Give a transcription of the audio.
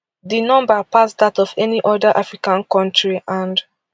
di number pass dat of any oda african kontri and